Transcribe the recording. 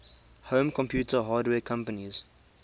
home computer hardware companies